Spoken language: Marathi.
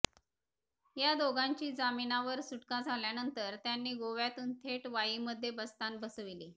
या दोघांची जामिनावर सुटका झाल्यानंतर त्यांनी गोव्यातून थेट वाइमध्ये बस्तान बसविले